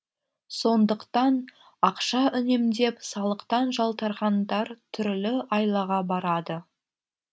сондықтан ақша үнемдеп салықтан жалтарғандар түрлі айлаға барады